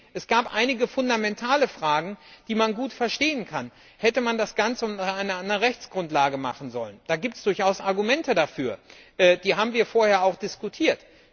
Es gab einige fundamentale Fragen, die man gut verstehen kann Hätte man das Ganze unter einer anderen Rechtsgrundlage machen sollen? Dafür gibt es durchaus Argumente. Die haben wir vorher auch diskutiert.